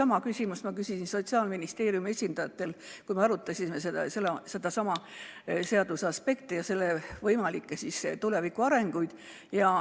Muide, sedasama ma küsisin Sotsiaalministeeriumi esindajatelt, kui me arutasime selle seaduse aspekte ja võimalikke tulevikuarenguid.